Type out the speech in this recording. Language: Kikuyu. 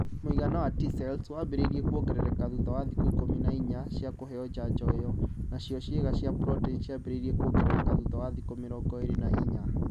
Muigana wa T-cells wambĩrĩirie kuongerereka thutha wa thikũ ikumi na inya cia kũheo njanjo iyo, nacio ciĩga cia protini ciambĩrĩirie kuongerereka thutha wa thikũ mĩrongo ĩrĩ na inya.